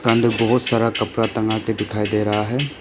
अंदर बहुत सारा कपड़ा टंगा भी दिखाई दे रहा है।